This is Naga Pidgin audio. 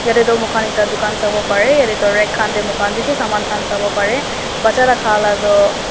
taetu mokhan ekta dukan sawo parae yatae tu rag khan tae mokhan bishi saman khan sawoparae bacha la khala toh.